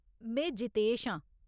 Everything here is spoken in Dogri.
में जितेश आं ।